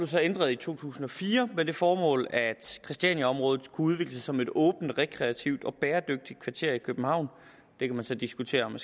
så ændret i to tusind og fire med det formål at christianiaområdet udvikles som et åbent rekreativt og bæredygtigt kvarter i københavn det kan man så diskutere om